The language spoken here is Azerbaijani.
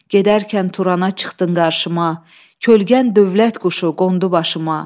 Gedərkən Turana çıxdın qarşıma, kölgən dövlət quşu qondu başıma.